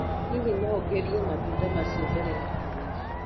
Hihi no ngerie matunda macio mbere ya kũgũra?